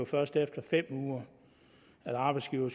først er efter fem uger at arbejdsgiver